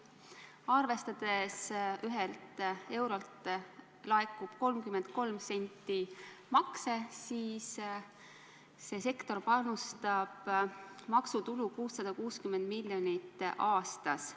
Arvestades, et ühelt eurolt laekub 33 senti makse, panustab see sektor maksutulu 660 miljonit aastas.